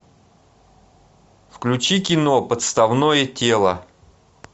включи кино подставное тело